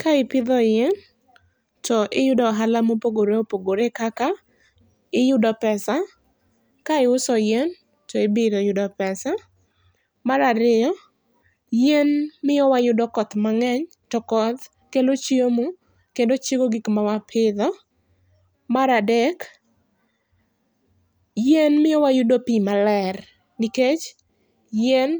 Ka ipidho yien to iyudo ohala ma opogore opogore kaka iyudo pesa ,ka iuso yien to ibiro yudo pesa. mar ariyo, yien miyo wayudo koth mang'eny to koth kelo chiemo, kendo chiego gik ma wapidho. Mar adek, yien miyo wayudo pi maler nikech yien